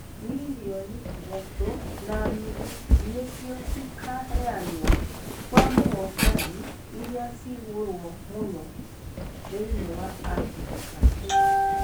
Millioni ithatũ na nuthu nĩcio cĩkaheanwo kwa muhotani iria ciigũro mũno thĩni wa africa.